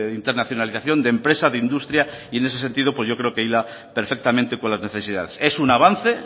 internacionalización de empresa de industria y en ese sentido pues yo creo que hila perfectamente con las necesidades es un avance